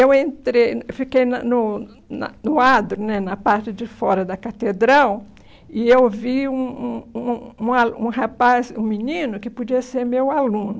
Eu entrei, fiquei na no na no adro né, na parte de fora da catedral, e eu vi um um um um a um rapaz, um menino, que podia ser meu aluno.